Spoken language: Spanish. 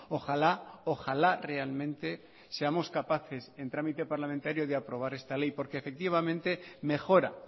ojalá ojalá realmente seamos capaces en trámite parlamentario de aprobar esta ley porque efectivamente mejora